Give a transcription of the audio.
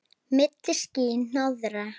Milli ský- hnoðra.